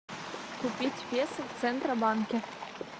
купить песо в центробанке